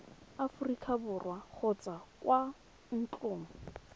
aforika borwa kgotsa kwa ntlong